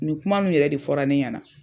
Nin kuma nunnu yɛrɛ de fɔra ne ɲɛna.